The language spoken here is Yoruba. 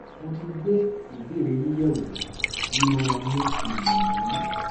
mo ti gbé ìbéèrè yín yẹwò ìmọràn mi sì nìyí